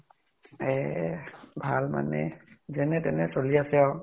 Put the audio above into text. এহ ভাল মানে যেনে তেনে চলি আছো আৰু ।